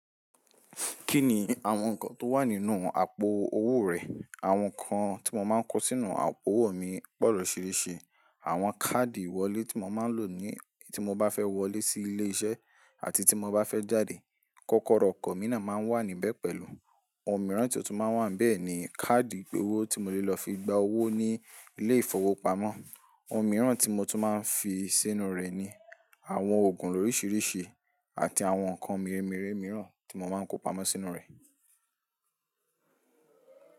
Kí ni àwọn nǹkan tó wà nínú àpò owó rẹ̀? Àwọn nǹkan tí mo máa ń kó sínú àpò owó mi pọ̀ lọ̀riṣìrìṣì. Àwọn káàdì ìwọlé tí mo máa ń lò ní tí mo bá fẹ́ wọlé sí ilé iṣẹ́ àti tí mo bá fẹ́ jáde. Kọ́kọ́rọ́ ọkọ̀ mi náà máa wà níbẹ̀ pẹ̀lú. Ohun mìíràn tí ò tún máa wà níbẹ̀ ni káàdì ìpe owó tí mo lè lọ fi gba owó ní ilé ìfowópamọ́. Ohun mìíràn tí mo tún máa ń fi sínú rẹ̀ ni àwọn òògùn lóríṣiríṣi àti àwọn nǹkan mìírẹ̀ mìírẹ̀ mìíràn tí mo máa ń kó pamọ́ sínú rẹ̀.